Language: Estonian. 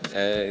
Aitäh!